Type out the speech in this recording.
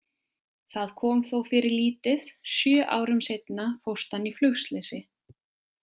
Það kom þó fyrir lítið, sjö árum seinna fórst hann í flugslysi.